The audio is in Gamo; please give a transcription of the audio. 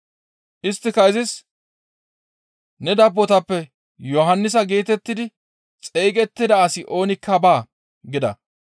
Isttika izis, «Ne dabbotappe Yohannisa geetettidi xeygettida asi oonikka baa» gida.